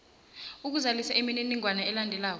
uzalisa imininingwana elandelako